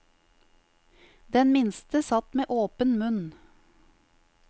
Den minste satt med åpen munn.